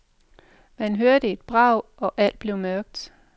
Man hørte et brag, og alt blev mørkt.